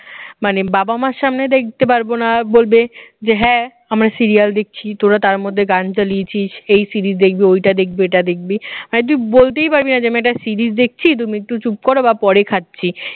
মানে বাবা মার সামনে দেখতে পারবো না বলবে যে হ্যাঁ আমরা serial দেখছি তোরা তার মধ্যে গান চালিয়েছিস এই series দেখবি ওইটা দেখবি ওটা দেখবি মানে তুই বলতেই পারবি না যে আমি একটা series দেখছি তুমি একটু চুপ করো বা পরে খাচ্ছি